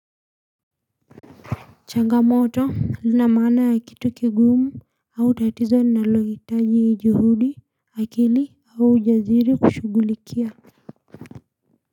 Changamoto lina maana ya kitu kiguumu au tatizo linalohitaji juhudi akili au jaziri kushugulikia.